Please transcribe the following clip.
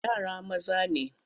Yara maza ne.